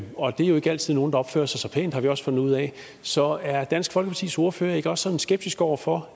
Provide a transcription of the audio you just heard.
og det er jo ikke altid nogle der opfører sig så pænt har vi også fundet ud af så er dansk folkepartis ordfører ikke også sådan skeptisk over for